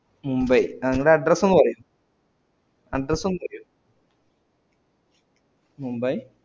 Mumbai നിങ്ങടെ address ഒന്നു പറയു address ഒന്നു പറയു Mumbai